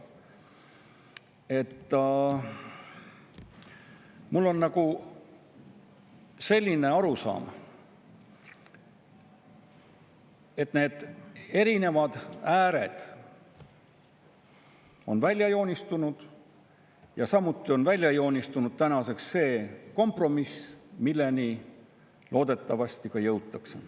Mul on selline arusaam, et erinevad ääred on välja joonistunud, samuti on tänaseks välja joonistunud see kompromiss, millele loodetavasti ka jõutakse.